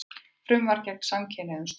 Frumvarp gegn samkynhneigðum stoppað